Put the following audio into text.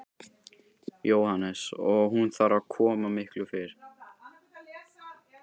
Jóhannes: Og hún þarf að koma miklu fyrr?